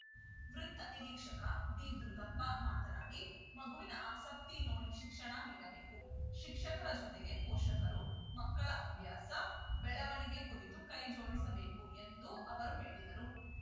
ವೃತ್ತ ನಿರೀಕ್ಷಕ ಡಿದುರುಗಪ್ಪ ಮಾತನಾಡಿ ಮಗುವಿನ ಆಸಕ್ತಿ ನೋಡಿ ಶಿಕ್ಷಣ ನೀಡಬೇಕು ಶಿಕ್ಷಕರ ಜೊತೆಗೆ ಪೋಷಕರು ಮಕ್ಕಳ ಅಭ್ಯಾಸ ಬೆಳವಣಿಗೆ ಕುರಿತು ಕೈ ಜೋಡಿಸಬೇಕು ಎಂದು ಅವರು ಹೇಳಿದರು